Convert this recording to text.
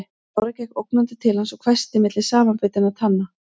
Lára gekk ógnandi til hans og hvæsti milli samanbitinna tanna